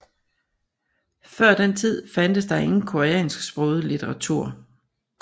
Før den tid fandtes der ingen koreansksproget litteratur